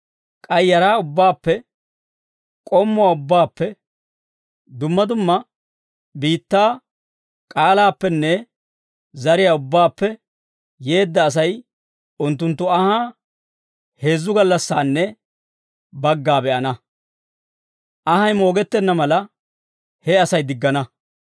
K'ay yaraa ubbaappe, k'ommuwaa ubbaappe, dumma dumma biittaa k'aalaappenne zariyaa ubbaappe yeedda Asay unttunttu anhaa heezzu gallassanne bagga be'ana. Anhay moogettenna mala, he Asay diggana.